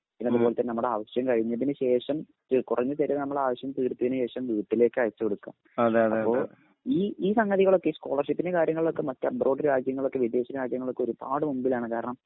പിന്നതുപോലെ തന്നെ നമ്മുടെ ആവശ്യം കഴിഞ്ഞതിനുശേഷം കുറഞ്ഞ ചിലവിൽ നമ്മുടെ ആവശ്യം തീർത്തതിനു ശേഷം വീട്ടിലേക്കയച്ചു കൊടുക്കാം. അപ്പോ ഈ ഈ സംഗതികളൊക്കെ സ്കോളർഷിപ്പിന്റെ കാര്യങ്ങളൊക്കെ മറ്റ് എബ്രോഡ് രാജ്യങ്ങളൊക്കെ വിദേശരാജ്യങ്ങളൊക്കെ ഒരുപാട് മുൻപിലാണ് കാരണം